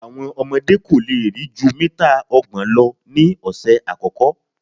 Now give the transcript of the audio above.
Àwọn ọmọdé́ kò lè rí jú mítà ọgbọ̀n lọ ní ọ̀sẹ̀ àkọ́kọ́.